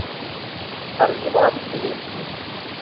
арзиман ильинский